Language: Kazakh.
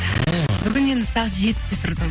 бүгін енді сағат жетіде тұрдым